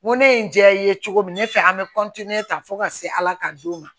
N ko ne ye n ja i ye cogo min ne fɛ an bɛ ta fo ka se ala ka don ma